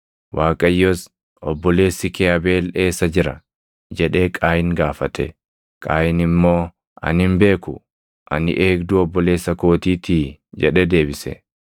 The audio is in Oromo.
Waaqayyos, “Obboleessi kee Abeel eessa jira?” jedhee Qaayin gaafate. Qaayin immoo, “Ani hin beeku; ani eegduu obboleessa kootiitii?” jedhee deebise.